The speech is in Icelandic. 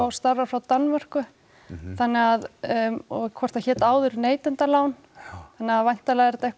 starfar frá Danmörku þannig að og hvort það hét áður neytendalán þannig að væntanlega er þetta eitthvað